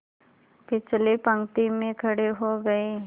पिछली पंक्ति में खड़े हो गए